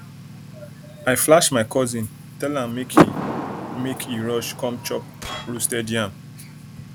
i flash my cousin tell am make he make he rush come chop roasted yam